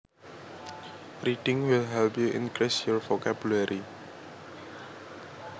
Reading will help you increase your vocabulary